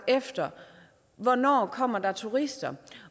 efter hvornår der kommer turister